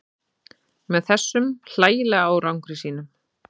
Með þessum hlægilega árangri sínum.